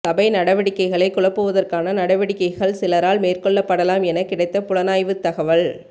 சபை நடவடிக்கைகளைக் குழப்புவதற்கான நடவடிக்கைகள் சிலரால் மேற்கொள்ளப்படலாம் என கிடைத்த புலனாய்வுத் தகவல